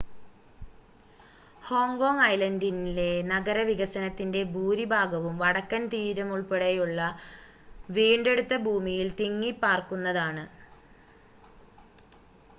Hong Kong ഐലൻ്റിലെ നഗരവികസനത്തിൻ്റെ ഭൂരിഭാഗവും വടക്കൻ തീരമുൾപ്പടെയുള്ള വീണ്ടെടുത്ത ഭൂമിയിൽ തിങ്ങിപ്പാർക്കുന്നതാണ്